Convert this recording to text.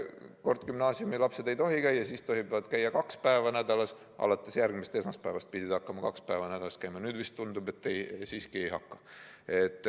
Kord gümnaasiumilapsed ei tohi koolis käia, siis tohivad käia kaks päeva nädalas, alates järgmisest esmaspäevast pidid hakkama kaks päeva nädalas käima, nüüd tundub, et siiski ei hakka.